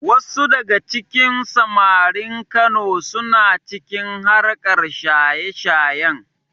Wasu daga cikin samarin Kano suna cikin harkar shaye-shayen.